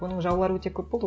оның жаулары өте көп болды